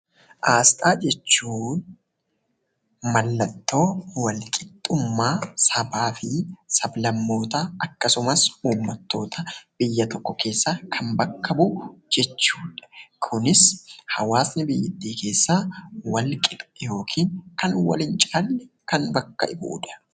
Aasxaa jechuun mallattoo wal qixxummaa sabaa fi sab-lammootaa akkasumas uummatootaa biyya tokko keessaa kan bakka bu'u jechuu dha. Kunis hawwaasni biyyatti keessaa wal qixa yookiin kan wal hin caallee kan bakka bu'uu dha.